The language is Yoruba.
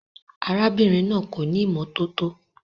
Arábìnrin náà kò ní ìmọ́tótó.